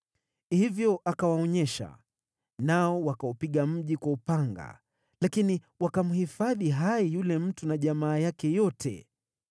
Hivyo akawaonyesha, nao wakaupiga mji kwa upanga lakini wakamhifadhi hai yule mtu na jamaa yake yote.